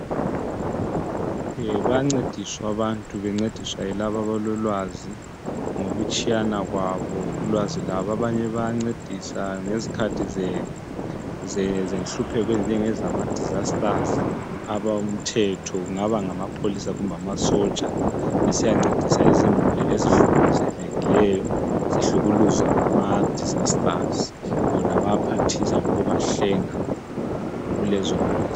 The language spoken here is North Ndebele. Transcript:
e bayancediswa abantu bencediswa yilabo abalolwazi ngokutshiyana kwabo ulwazi lwabo abanye bayancedisa ngezikhathi zenhlupheko ezinjengama disasters abomthetho kungaba ngamapholisa kumbe amasotsha besiyancedisa izimuli ezihlukuluzekileyo zihlukuluzwa ngama disasters bona bayaphathisa ngokuba hlenga kulezo ngozi